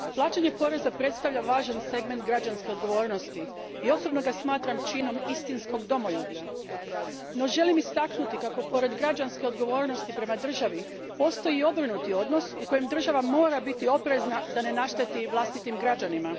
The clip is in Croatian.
Gospodine predsjedniče, plaćanje poreza predstavlja važan segment građanske odgovornosti i osobno ga smatram činom istinskog domoljublja. No, želim istaknuti kako pored građanske odgovornosti prema državi postoji i obrnuti odnos u kojem država mora biti oprezna da ne našteti vlastitim građanima.